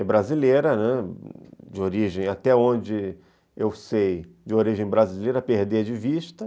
É brasileira, né, até onde eu sei, de origem brasileira, perder de vista.